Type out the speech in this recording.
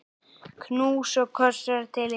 Knús og kossar til ykkar.